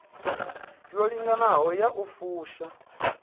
yo linganaho ya u fusha